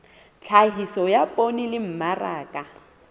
tlhahiso ya poone le mmaraka